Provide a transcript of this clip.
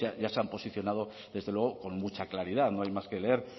ya se han posicionado desde luego con mucha claridad no hay más que leer